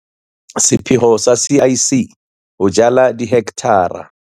Sepheo sa CEC sa ho jala dihekthara.